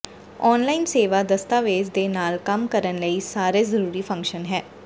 online ਸੇਵਾ ਦਸਤਾਵੇਜ਼ ਦੇ ਨਾਲ ਕੰਮ ਕਰਨ ਲਈ ਸਾਰੇ ਜ਼ਰੂਰੀ ਫੰਕਸ਼ਨ ਹੈ